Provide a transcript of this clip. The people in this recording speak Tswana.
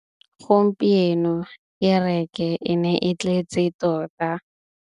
Gompieno kêrêkê e ne e tletse tota.